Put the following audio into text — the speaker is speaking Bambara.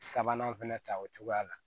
Sabanan fɛnɛ ta o cogoya la